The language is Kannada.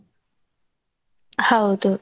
ಹೌದು.